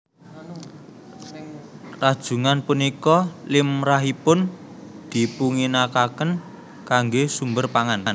Rajungan punika limrahipun dipunginakaken kanggé sumber pangan